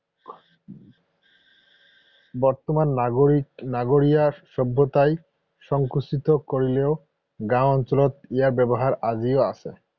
বৰ্তমান নগৰীয়া সভ্যতাই সংকুচিত কৰিলেও গাঁও অঞ্চলত ইয়াৰ ব্যৱহাৰ আজিও আছে।